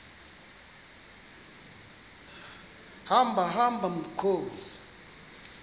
hamba hamba mkhozi